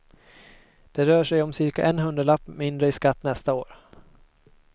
Det rör sig om cirka en hundralapp mindre i skatt nästa år.